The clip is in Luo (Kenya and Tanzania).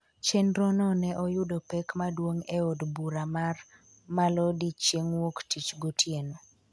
chenrono ne oyudo pek maduong’ e od bura mar Malodi chieng'wuoktich gotieno